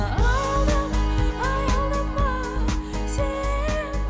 аялдама аялдама сен